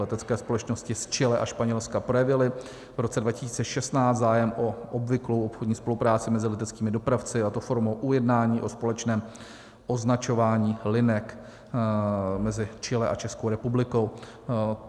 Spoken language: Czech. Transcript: Letecké společnosti z Chile a Španělska projevily v roce 2016 zájem o obvyklou obchodní spolupráci mezi leteckými dopravci, a to formou ujednání o společném označování linek mezi Chile a Českou republikou.